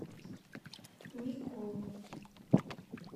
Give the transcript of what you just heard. микову